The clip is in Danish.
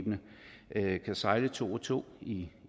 at krydstogtskibene sejle to og to i